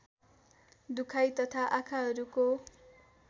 दुखाइ तथा आँखाहरूको